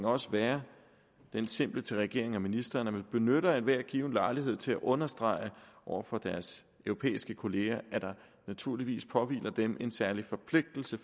også være min simple opfordring til regeringen og ministeren at man benytter enhver given lejlighed til at understrege over for deres europæiske kolleger at der naturligvis påhviler dem en særlig forpligtelse